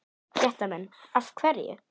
Fréttamenn: Af hverju?